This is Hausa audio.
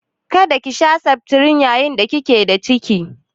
Kada ki sha septrin yayin da kike da ciki?